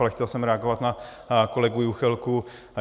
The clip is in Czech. Ale chtěl jsem reagovat na kolegu Juchelku.